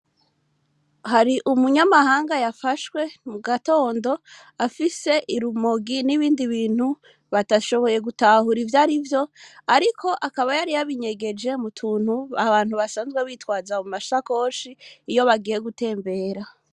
Hari umunyamahanga yafashwe mu gatondo afise urumogi n'ibindi bintu badashoboye gutahura ivyo arivyo ariko akaba yabinyegeje mu tuntu abantu basanzwe bitwaza mu masakoshi iyo bagiye gutembera.